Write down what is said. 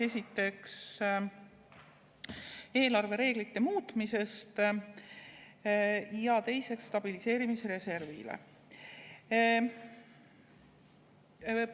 Esiteks, eelarvereeglite muutmisele, ja teiseks, stabiliseerimisreservile.